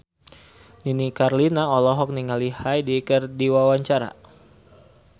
Nini Carlina olohok ningali Hyde keur diwawancara